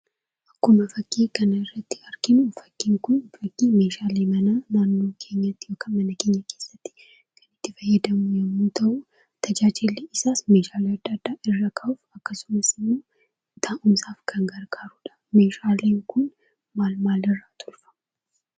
Akkuma fakkii kanarratti arginu, fakkiin kun, meeshaalee mana naannoo keenyatti ykn mana keenya keessatti itti fayyadamnu yemmu ta'u, tajaajilli isaas meeshaalee adda, addaa irra kaa'uuf, akkasumas, taa'uumsaf kan gargaruudha. meeshaaleen kun maal, maal irra tolfama?